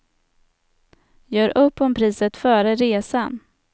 Gör upp om priset före resan.